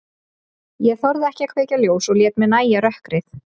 Ég þorði ekki að kveikja ljós og lét mér nægja rökkrið.